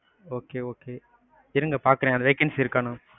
okay, okay இருங்க பாக்குறேன், vacancy இருக்கானு?